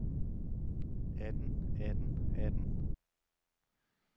atten atten atten